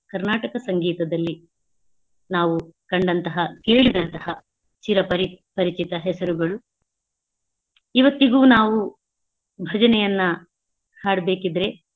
ಕರ್ನಾಟಕ ಸಂಗೀತದಲ್ಲಿ ನಾವು ಕಂಡಂತಹ ಕೇಳಿದಂತಹ ಚಿರಪರಿ~ ಪರಿಚಿತ ಹೆಸರುಗಳು ಇವತ್ತಿಗೂ ನಾವು ಭಜನೆಯನ್ನಾ ಹಾಡಬೇಕಿದ್ರೆ.